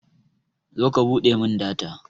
zo ka buɗe min data